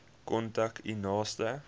kontak u naaste